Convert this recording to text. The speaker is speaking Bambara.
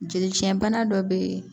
Jeli cɛnbana dɔ bɛ yen